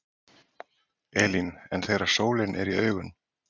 Elín: En þegar sólin er í augun?